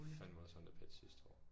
Fandme også ondt af Petsch sidste år